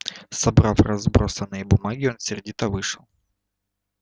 собрав разбросанные бумаги он сердито вышел